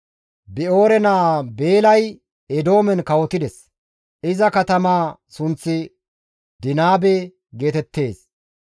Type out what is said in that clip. Bi7oore naa Beelay Eedoomen kawotides; iza katamaa sunththi Dinaabe geetettees.